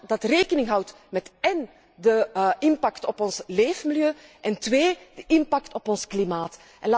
dat rekening houdt met de impact op ons leefmilieu én de impact op ons klimaat.